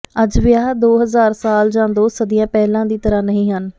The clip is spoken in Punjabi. ਅੱਜ ਵਿਆਹ ਦੋ ਹਜ਼ਾਰ ਸਾਲ ਜਾਂ ਦੋ ਸਦੀਆਂ ਪਹਿਲਾਂ ਦੀ ਤਰ੍ਹਾਂ ਨਹੀਂ ਹੈ